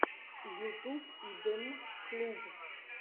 ютуб идмм клуб